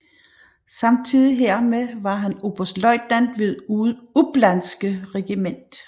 Samtidig hermed var han oberstløjtnant ved upplandske regiment